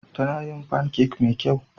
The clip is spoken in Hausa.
Tana yin pancakes mafi kyau.